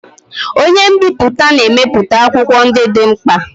Onye nbipute na-emepụta akwụkwọ ndị dị mkpa.